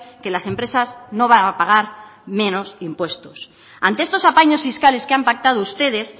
que las empresas no van a pagar menos impuestos ante estos apaños fiscales que han pactado ustedes